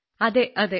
അതെ അതെ